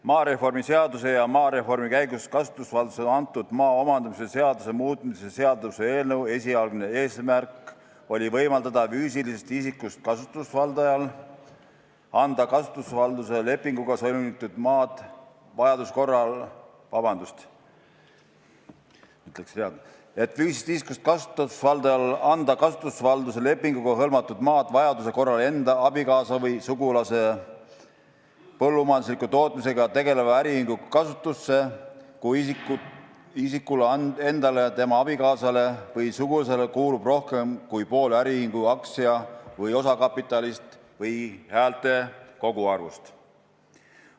Maareformi seaduse ja maareformi käigus kasutusvaldusesse antud maa omandamise seaduse muutmise seaduse eelnõu esialgne eesmärk oli võimaldada füüsilisest isikust kasutusvaldajal anda kasutusvalduse lepinguga hõlmatud maad vajaduse korral enda, abikaasa või sugulase põllumajandusliku tootmisega tegeleva äriühingu kasutusse, kui isikule endale, tema abikaasale või suguvõsale kuulub rohkem kui pool äriühingu aktsia- või osakapitalist või häälte koguarvust.